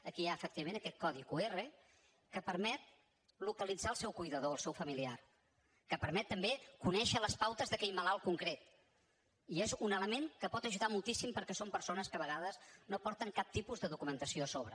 aquí hi ha efectivament aquest codi qr que permet localitzar el seu cuidador el seu familiar que permet també conèixer les pautes d’aquell malalt concret i és un element que pot ajudar moltíssim perquè són persones que a vegades no porten cap tipus documentació a sobre